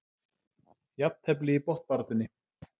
Jafntefli í botnbaráttunni